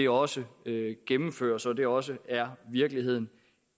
også gennemføres og at det også er virkeligheden